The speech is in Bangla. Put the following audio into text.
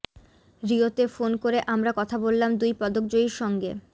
রিওতে ফোন করে আমরা কথা বললাম দুই পদকজয়ীর সঙ্গে